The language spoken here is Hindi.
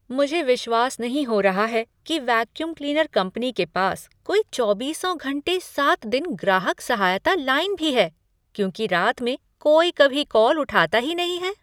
मुझे विश्वास नहीं हो रहा है कि वैक्यूम क्लीनर कंपनी के पास कोई चौबीसों घंटे सात दिन ग्राहक सहायता लाइन भी है क्योंकि रात में कोई कभी कॉल उठाता ही नहीं है।